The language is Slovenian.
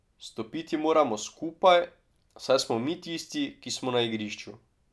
Stopiti moramo skupaj, saj smo mi tisti, ki smo na igrišču.